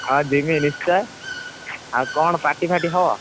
ହଁ ଜିମି ନିଶ୍ଚୟ ଆଉ କଣ party ଫାରଟୀ ହବ।